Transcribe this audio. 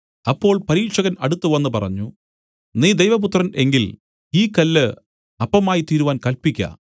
അപ്പോൾ പരീക്ഷകൻ അടുത്തുവന്ന് പറഞ്ഞു നീ ദൈവപുത്രൻ എങ്കിൽ ഈ കല്ല് അപ്പമായിത്തീരുവാൻ കല്പിക്ക